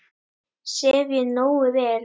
Sef ég nógu vel?